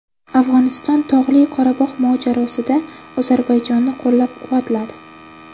Afg‘oniston Tog‘li Qorabog‘ mojarosida Ozarbayjonni qo‘llab-quvvatladi .